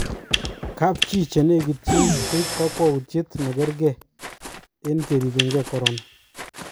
kapchi chenekityin koib kokwaoutyet nekerge eng keripenke corona